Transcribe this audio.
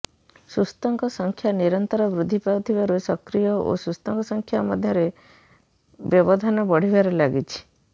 ସୁସ୍ଥଙ୍କ ସଂଖ୍ୟା ନିରନ୍ତର ବୃଦ୍ଧି ପାଉଥିବାରୁ ସକ୍ରିୟ ଓ ସୁସ୍ଥଙ୍କ ସଂଖ୍ୟା ମଧ୍ୟରେ ବ୍ୟବଧାନ ବଢିବାରେ ଲାଗିଛି